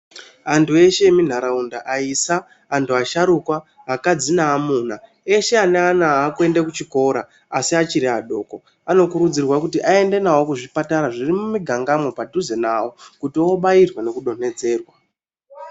Antu eshe emunharaunda aisa, antu asharukwa, akadzi naamuna eshe aneana akuende kuchikora asi achiri adoko. Anokurudzirwa kuti aende navo kuzvipatara zviri mumigangamo padhuze navo kuti vobairwa nekudonedzerwa.